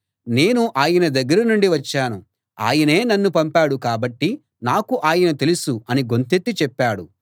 నేను ఆయన దగ్గర నుండి వచ్చాను ఆయనే నన్ను పంపాడు కాబట్టి నాకు ఆయన తెలుసు అని గొంతెత్తి చెప్పాడు